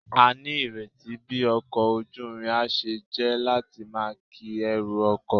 A ni ireti bi oko ojuirin a se je lati maa ki eru oko